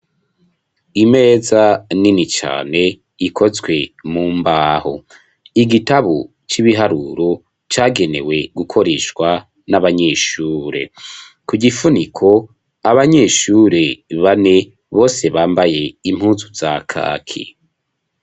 Imeza nini cane ikozwe mu mbaho igitabo c'ibiharuro cagenewe gukoreshwa n'abanyeshure ku gifuniko abanyeshure bane bose bambaye impuzu za kaki.